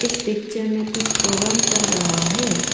इस पिक्चर में कुछ प्रोग्राम चल रहा है।